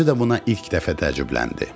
Özü də buna ilk dəfə təəccübləndi.